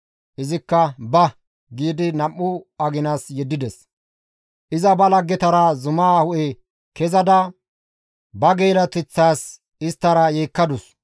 Izikka, «Ba!» giidi nam7u aginas yeddides; iza ba laggetara zuma hu7e kezada ba geela7oteththaas isttara yeekkadus.